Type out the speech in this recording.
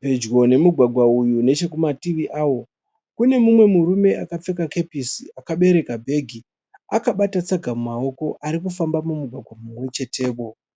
Pedyo nemugwagwa uyu nechekumativi awo kune mumwe murume akapfeka kepesi akabereka bhegi akabata tsaga mumaoko ari kufamba mumugwagwa mumwe chetewo.